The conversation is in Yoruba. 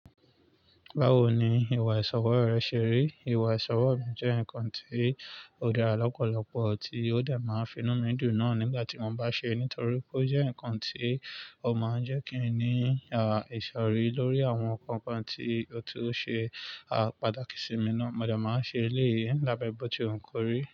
Báwo ni ìwà ìsọrọ́ rẹ ṣe rí? Ìwà ìsọrọ́ mi jẹ́ nǹkan tí ó dára lọ́pọ̀lọpọ̀, tí ó dà máa finú mi dùn náà nígbà tí mo bá ṣe é, nítorí pé ó jẹ́ ǹkan tí ó máa ń jẹ́ kí ènìyàn ṣọ̀rẹ́ lórí àwọn ǹkan kan tí ó ti ṣe, a pàtákí sí mi náà. Mo si máa n ṣe eléyìí, nigba ku gba bọ̀ tí lewu ko rí.